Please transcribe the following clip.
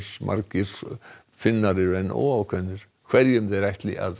margir Finnar eru enn óákveðnir hverjum þeir ætli að